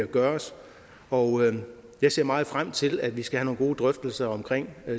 gøres og jeg ser meget frem til at vi skal have nogle gode drøftelser omkring